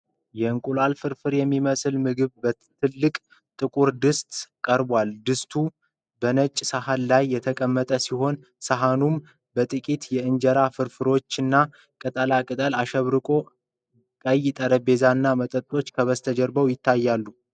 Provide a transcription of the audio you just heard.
የእንቁላል ፍርፍር የሚመስል ምግብ በትልቅ ጥቁር ድስት ቀርቧል:: ድስቱ በነጭ ሳህን ላይ የተቀመጠ ሲሆን፣ ሳህኑም በጥቂት የእንጀራ ፍርፋሪዎችና ቅጠላ ቅጠል አሸብርቋል:: ቀይ ጠረጴዛና መጠጦች ከበስተጀርባ ይታያሉ::